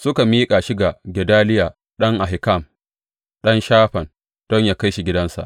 Suka miƙa shi ga Gedaliya ɗan Ahikam, ɗan Shafan, don yă kai shi gidansa.